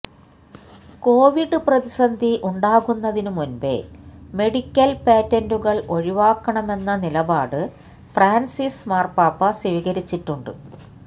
Covid പ്രതിസന്ധി ഉണ്ടാകുന്നതിനു മുന്പേ മെഡിക്കൽ പേറ്റന്റുകൾ ഒഴിവാക്കണമെന്ന നിലപാട് ഫ്രാൻസിസ് മാർപാപ്പ സ്വീകരിച്ചിട്ടുണ്ട്